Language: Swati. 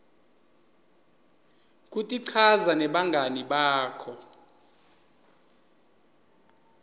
kutichaza nebangani bakho